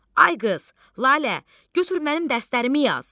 Ay qız, Lalə, götür mənim dərslərimi yaz.